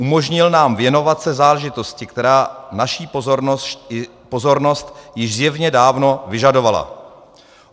Umožnil nám věnovat se záležitosti, která naší pozornost již zjevně dávno vyžadovala.